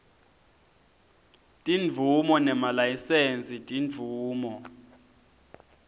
timvumo nemalayisensi timvumo